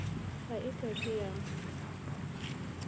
ha e ke ke ya